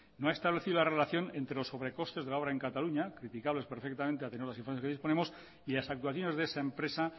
no ha establecido la relación entre los sobrecostes de la obra en cataluña criticables perfectamente a tenor de las informaciones que disponemos y las actuaciones de esa empresa